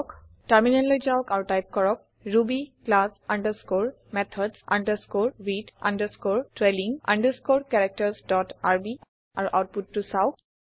টাৰমিনেললৈ যাওক আৰু টাইপ কৰক Ruby class underscore methods underscore with underscore trailing underscore characters dot RB আৰু আওতপুতটো চাওঁক